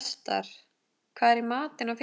Vestar, hvað er í matinn á fimmtudaginn?